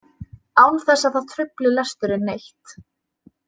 Án þess að það trufli lesturinn neitt.